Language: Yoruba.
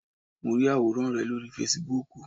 Mo rí àwòrán rẹ lórí Fasibúùkù